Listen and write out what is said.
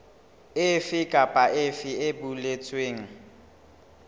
efe kapa efe e boletsweng